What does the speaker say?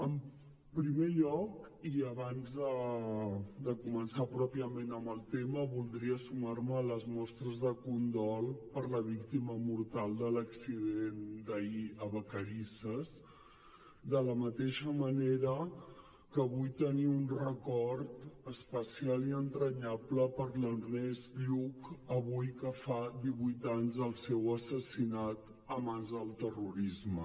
en primer lloc i abans de començar pròpiament amb el tema voldria sumar me a les mostres de condol per la víctima mortal de l’accident d’ahir a vacarisses de la mateixa manera que vull tenir un record especial i entranyable per a l’ernest lluch avui que fa divuit anys del seu assassinat a mans del terrorisme